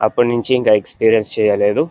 అప్పుడు నించి ఇంకా ఎక్సపీరియన్సు చేయలేదు.